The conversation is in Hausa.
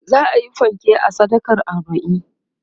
za'ayi fanke a sadakan arbain